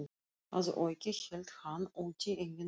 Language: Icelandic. Að auki hélt hann úti eigin sjón